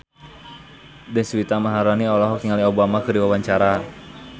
Deswita Maharani olohok ningali Obama keur diwawancara